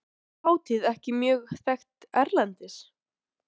Er þessi hátíð orðin mjög þekkt erlendis?